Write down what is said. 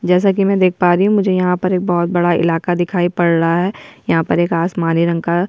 जैसा कि हम देख पा रही हुँ मुझे यहाँ पर एक बहुत बड़ा इलाका दिखाई पड़ रहा है यहाँ पर एक आसमानी रंग का --